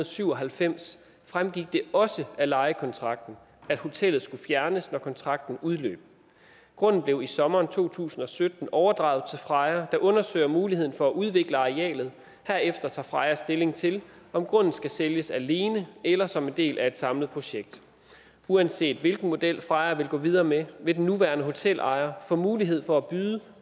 syv og halvfems fremgik det også af lejekontrakten at hotellet skulle fjernes når kontrakten udløb grunden blev i sommeren to tusind og sytten overdraget til freja der undersøger muligheden for at udvikle arealet herefter tager freja stilling til om grunden skal sælges alene eller som en del af et samlet projekt uanset hvilken model freja vil gå videre med vil den nuværende hotelejer få mulighed for at byde